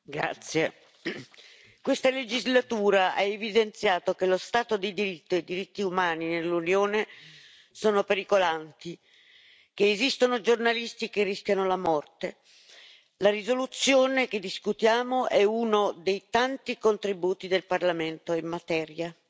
Signor Presidente, onorevoli colleghi, questa legislatura ha evidenziato che lo Stato di diritto e i diritti umani nell'Unione sono pericolanti, che esistono giornalisti che rischiano la morte. La risoluzione che discutiamo è uno dei tanti contributi del Parlamento in materia.